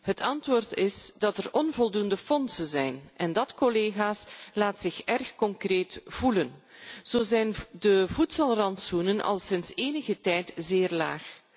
Het antwoord is dat er onvoldoende middelen zijn en dat laat zich erg concreet voelen. Zo zijn de voedselrantsoenen al sinds enige tijd zeer laag.